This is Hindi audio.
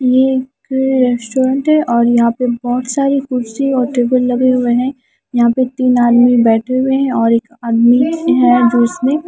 ये एक रेस्टोरेंट है और यहां पर बहोत सारी कुर्सी और टेबल लगे हुए है यहां पर तीन आदमी बैठे हुए हैं एक आदमी है जो उसमें--